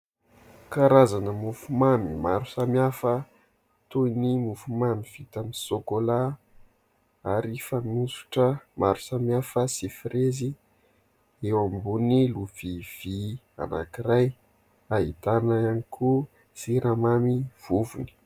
Karazana mofomamy maro samihafa toy : ny mofomamy vita amin'ny sôkôla ary fanosotra maro samihafa sy firezy eo ambony lovia vy anankiray. Ahitana ihany koa siramamy vovony.